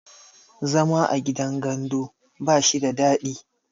zama a gidan gandu ba shi da dadi